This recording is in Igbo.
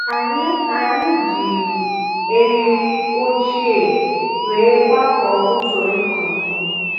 Anyị Anyị ji eriri ochie wee gbakọọ usoro ịkụ ihe